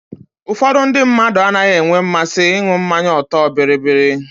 Ụfọdụ ndị mmadụ anaghị enwe mmasị ịṅụ mmanya ọtọọ biribiri.